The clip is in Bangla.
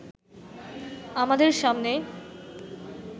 আমাদের সামনে